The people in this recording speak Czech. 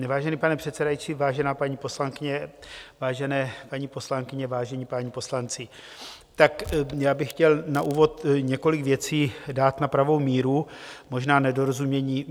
Vážený pane předsedající, vážená paní poslankyně, vážené paní poslankyně, vážené páni poslanci, tak já bych chtěl na úvod několik věcí dát na pravou míru, možná nedorozumění.